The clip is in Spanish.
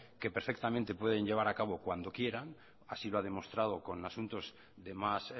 que perfectamente pueden llevar a cabo cuando quieran así lo ha demostrado con asuntos de más